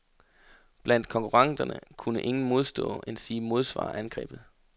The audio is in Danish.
Blandt konkurrenterne kunne ingen modstå, endsige modsvare, angrebet.